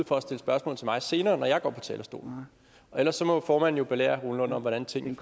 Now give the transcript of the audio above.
for at stille spørgsmål til mig senere når jeg går på talerstolen ellers må formanden jo belære herre rune lund om hvordan tingene